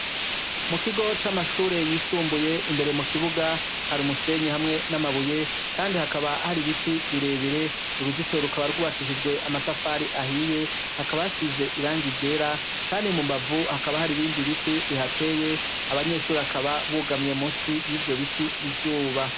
Mu kigo c'amashure y'isumbuye, imbere mu kibuga hari umusenyi hamwe n'amabuye, kandi hakaba hari ibiti birebire, uruzitiro rukaba rwubakishijwe amatafari ahiye, hakaba hasize irangi ryera, kandi mu mbavu hakaba hari ibindi biti bihateye, abanyeshure bakaba bugamye musi y'ivyo biti izuba.